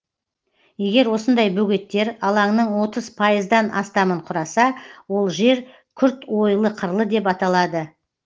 егер осындай бөгеттер алаңның отыз пайыздан астамын құраса ол жер күрт ойлы қырлы деп аталады